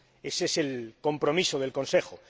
Ese es el compromiso del Consejo.